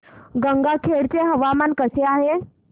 गंगाखेड चे हवामान कसे आहे